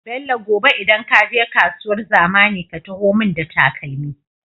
Bello gobe idan kaje kasuwar zamani ka taho mun da takalmi